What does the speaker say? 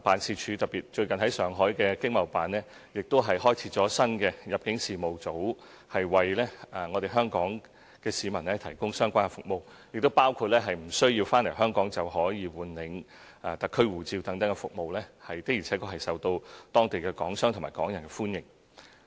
此外，最近，駐上海經貿辦新開設了入境事務組，為香港市民提供相關服務，包括無須回港便可換領特區護照等服務，的而且確受到當地港商和港人的歡迎。